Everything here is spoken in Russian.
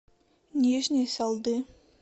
нижней салды